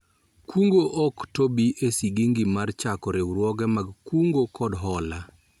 Kungo ok tobi e sigingi mar chako riwruoge mag kungo kod hola